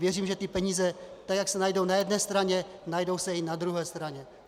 Věřím, že ty peníze, tak jak se najdou na jedné straně, najdou se i na druhé straně.